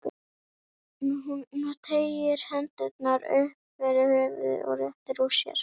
Hún teygir hendurnar upp fyrir höfuðið og réttir úr sér.